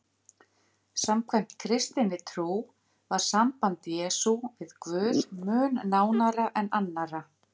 Samkvæmt kristinni trú var samband Jesú við Guð mun nánara en annarra.